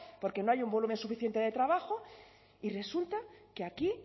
porque no hay un volumen suficiente de trabajo y resulta que aquí